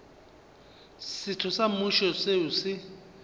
setho sa mmušo seo se